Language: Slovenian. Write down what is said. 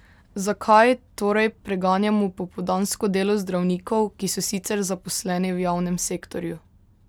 Zakaj torej preganjamo popoldansko delo zdravnikov, ki so sicer zaposleni v javnem sektorju?